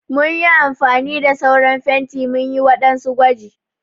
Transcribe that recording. Mun yi amfani da sauran fenti munyi waɗansu gwaji.